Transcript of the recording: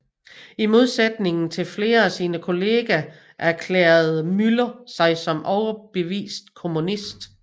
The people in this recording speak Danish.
I modsætning til flere af sine kolleger erklærede Müller sig som overbevist kommunist